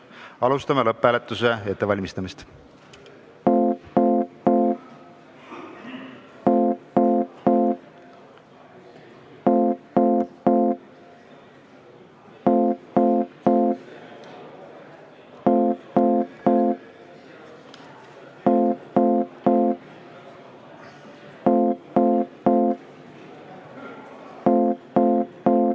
Alustame selle ettevalmistamist.